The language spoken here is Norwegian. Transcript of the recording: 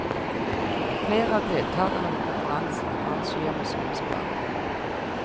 Flere av deltagerne på konferansen har shihamuslimsk bakgrunn.